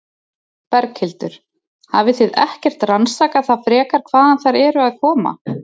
Berghildur: Hafið þið ekkert rannsakað það frekar hvaðan þær eru aðkoma?